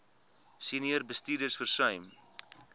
senior bestuurders versuim